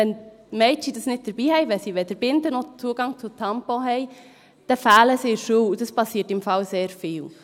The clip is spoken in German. Wenn Mädchen es nicht dabeihaben, wenn sie weder Zugang zu Binden noch zu Tampons haben, dann fehlen sie in der Schule, und das passiert übrigens sehr oft.